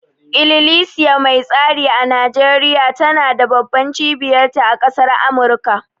Ililisiya mai tsari a Nijeriya tana da babban cibiyar ta a ƙasar Amurka